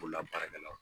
Bolola baarakɛlaw